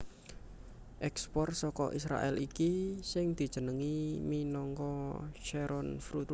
Ekspor saka Israèl iki sing dijenengi minangka Sharon fruit